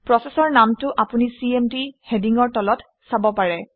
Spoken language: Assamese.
প্ৰচেচৰ নামটো আপুনি চিএমডি হেডিঙৰ তলত চাব পাৰে